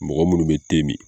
Mɔgɔ minnu bɛ te min.